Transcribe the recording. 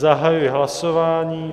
Zahajuji hlasování.